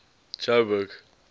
joburg